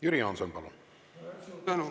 Jüri Jaanson, palun!